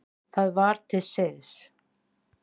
Það var til siðs.